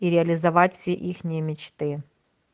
и реализовать все ихние мечты